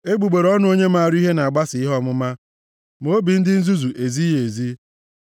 Egbugbere ọnụ onye maara ihe na-agbasa ihe ọmụma, ma obi ndị nzuzu ezighị ezi.